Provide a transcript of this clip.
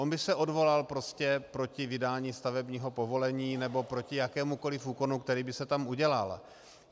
On by se odvolal prostě proti vydání stavebního povolení nebo proti jakémukoliv úkonu, který by se tam udělal.